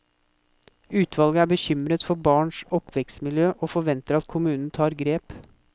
Utvalget er bekymret for barns oppvekstmiljø, og forventer at kommunen tar grep.